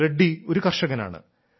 റെഡ്ഡി ഒരു കർഷകനാണ്